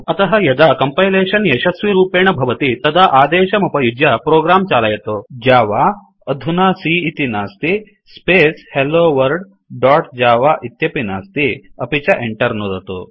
अतः यदा कंपैलेशन् यशस्विरूपेण भवति तदा अदेशमुपयुज्य प्रोग्राम चालयतु जव अधुना सी॰॰ इति नास्ति स्पेस् हेलोवर्ल्ड दोत् जव इत्यपि नास्ति अपि च Enter नुदतु